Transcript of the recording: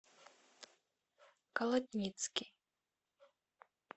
колодницкий